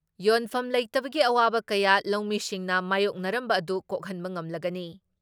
ꯌꯣꯟꯐꯝ ꯂꯩꯇꯕꯒꯤ ꯑꯋꯥꯕ ꯀꯌꯥ ꯂꯧꯃꯤꯁꯤꯡꯅ ꯃꯥꯌꯣꯛꯅꯔꯝꯕ ꯑꯗꯨ ꯀꯣꯛꯍꯟꯕ ꯉꯝꯂꯒꯅꯤ ꯫